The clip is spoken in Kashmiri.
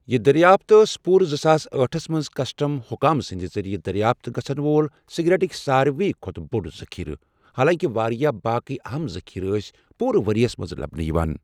یہِ دریافت ٲس پوٗرٕ زٕ ساس ٲٹھس منٛز کسٹم حکام سٕنٛدِ ذٔریعہٕ دریافت گژھَن وول سگریٹٕکۍ سارۍوٕے کھۄتہٕ بوٚڑ ذخیرٕ، حالانٛکہِ واریٛاہ باقٕے اہم ذٔخیرٕ ٲسۍ پوٗرٕ ؤریَس منٛز لبنہٕ یِوان۔